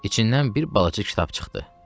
İçindən bir balaca kitab çıxdı.